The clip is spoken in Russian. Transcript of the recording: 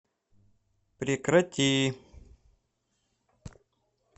прекрати